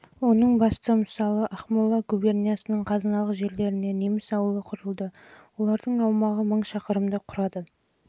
оның басты мысалы жылға дейінгі уақытта ақмола губерниясының қазыналық жерлеріне неміс ауылы құрылды олардың аумағы мың шақырымды құрады